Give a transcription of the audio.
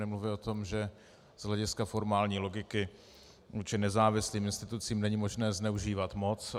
Nemluvě o tom, že z hlediska formální logiky vůči nezávislým institucím není možné zneužívat moc.